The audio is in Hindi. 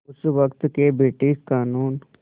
उस वक़्त के ब्रिटिश क़ानून